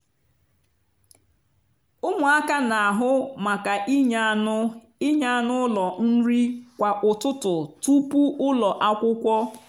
ụmụaka n'ahụ maka inye anụ inye anụ ụlọ nri kwa ụtụtụ tupu ụlọ akwụkwọ.